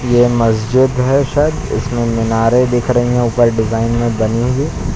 यह मस्जिद है शायद इसमें मीनारें दिख रही है ऊपर डिजाइन में बनी हुई।